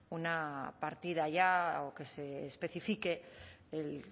una partida ya o que se especifique el